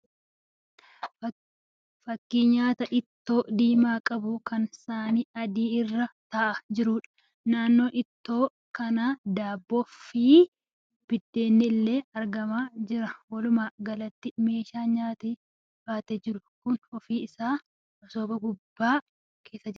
Fakkii nyaata ittoo diimaa qabu kan saanii adii irra ta'aa jiruudha. Naannoo ittoo kanaa daabboo, fal'aanaa fi biddeenni illee argamaa jira. Walumaa galatti meeshaa nyaata baatee jiru kun ofii isaatii masooba guddaa keessa jira.